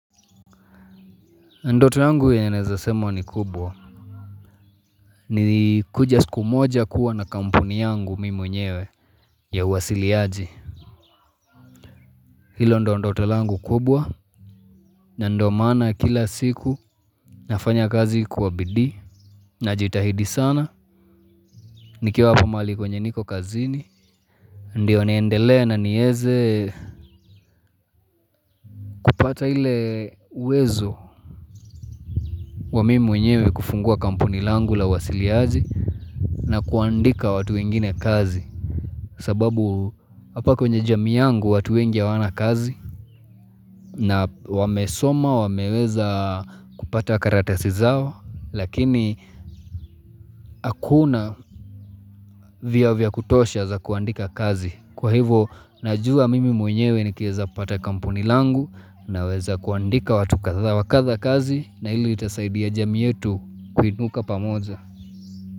Ndoto yangu yenye nawezasema ni kubwa. Ni kuja siku moja kuwa na kampuni yangu mimi mwenyewe ya uwasiliaji. Hilo ndo ndoto langu kubwa na ndo maana kila siku nafanya kazi kwabidii na jitahidi sana. Nikiwa hapa mali kwenye niko kazini, ndiyo niendelea na nieze kupata ile uwezo wa mimi mwenyewe kufungua kampuni langu lau wasiliazi na kuandika watu ingine kazi. Sababu hapa kwenye jamii yangu watu wengi hawana kazi na wamesoma, wameweza kupata karatasi zao, lakini hakuna vya vya kutosha za kuandika kazi. Kwa hivo, najua mimi mwenyewe ni kieza pata kampuni langu na weza kuandika watu kadha wakadha kazi na ili tasaidia jamii yetu kuinuka pamoja.